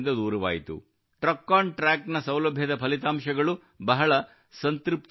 ಟ್ರಕೊಂಟ್ರಾಕ್ ಸೌಲಭ್ಯದ ಫಲಿತಾಂಶಗಳು ಬಹಳ ಸಂತೃಪ್ತಿಕರವಾಗಿವೆ